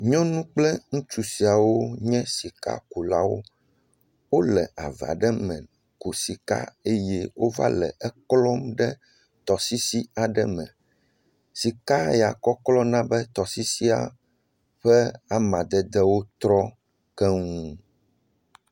Nyɔnu kple ŋutsu siawo nye sikakulawo. Wole ava aɖe me. Ku sika eye wova le eklɔm ɖe tɔsisi aɖe me. Sika ya kɔklɔ na be tɔsisi ƒe amadedewo trɔ kɔŋ.